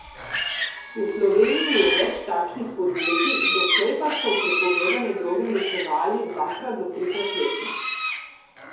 V Sloveniji je več takšnih podjetij, doslej pa so prepovedane droge uničevali dvakrat do trikrat letno.